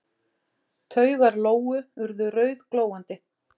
Taugar Lóu urðu rauðglóandi.